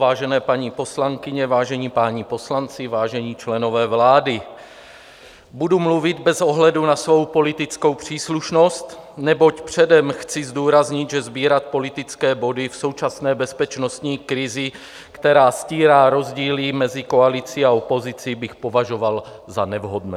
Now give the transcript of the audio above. Vážené paní poslankyně, vážení páni poslanci, vážení členové vlády, budu mluvit bez ohledu na svou politickou příslušnost, neboť předem chci zdůraznit, že sbírat politické body v současné bezpečnostní krizi, která stírá rozdíly mezi koalicí a opozicí, bych považoval za nevhodné.